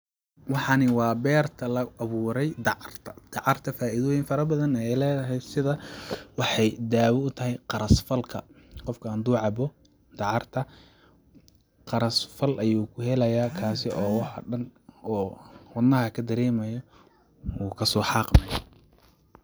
Waxani waa berta dacarta oo laa aburay taso , dacarta dawoyin fara badan ayey ledahay taso ay kamid tahay qaras falka , qofka hadu cabo dacarta qaras fal ayu ka daremaya oo wadnaha kadaremayo wuu kaso haqmaya.